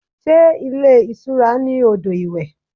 Sé ilé ìtura ní odò iwẹ̀?